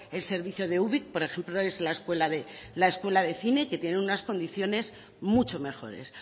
el servicio ubik por ejemplo es la escuela de cine que tiene unas condiciones mucho mejores